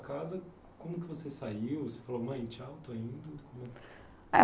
casa, como que você saiu? Você falou, mãe, tchau, estou indo? É